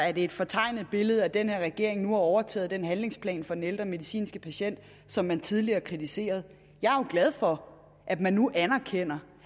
er det et fortegnet billede at den her regering nu har overtaget den handlingsplan for den ældre medicinske patient som man tidligere kritiserede jeg er jo glad for at man nu anerkender